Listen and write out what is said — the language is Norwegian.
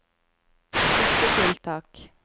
støttetiltak